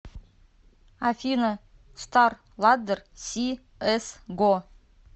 афина стар ладдер си эс го